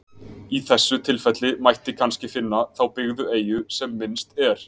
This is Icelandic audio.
Í þessu tilfelli mætti kannski finna þá byggðu eyju sem minnst er.